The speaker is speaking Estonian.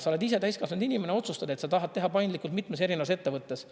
Sa oled ise täiskasvanud inimene, otsustad, et sa tahad teha paindlikult mitmes erinevas ettevõttes.